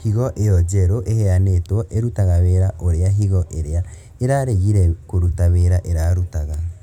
Higo ĩyo njeru ĩheanĩtwo ĩrutaga wĩra ũrĩa higo ĩrĩa ĩraregire kũruta wĩra ĩrarutaga